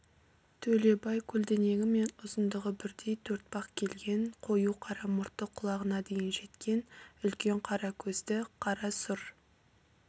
төлебай көлденеңі мен ұзындығы бірдей төртпақ келген қою қара мұрты құлағына дейін жеткен үлкен қара көзді қара сұр